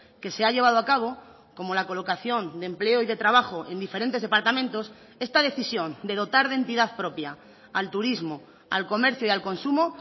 que se ha llevado a cabo como la colocación de empleo y de trabajo en diferentes departamentos esta decisión de dotar de entidad propia al turismo al comercio y al consumo